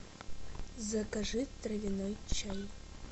закажи травяной чай